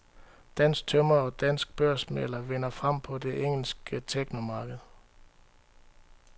Dansk tømrer og dansk børsmægler vinder frem på det engelske technomarked.